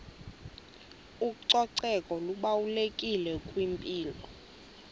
ucoceko lubalulekile kwimpilo